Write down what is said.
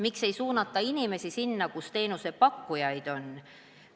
Miks ei suunata inimesi sinna, kus teenusepakkujaid on?